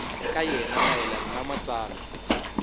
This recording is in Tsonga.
ka yena mayelana na matsalwa